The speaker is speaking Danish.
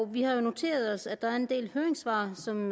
vi har jo noteret os at der er en del høringssvar som